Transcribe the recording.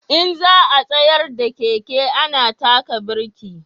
In za a tsayar da keke ana taka birki